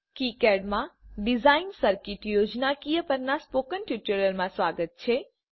KiCad માં design circuit યોજનાકીય પરના સ્પોકન ટ્યુટોરીયલમાં તમારું સ્વાગત છે